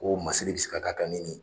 Ko masiri bɛ se ka ka ni nin ye.